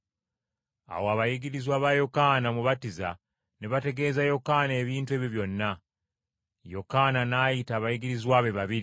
Awo abayigirizwa ba Yokaana Omubatiza ne bategeeza Yokaana ebintu ebyo byonna. Yokaana n’ayita abayigirizwa be babiri,